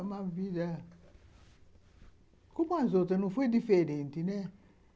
Foi uma vida... Como as outras, não foi diferente, né?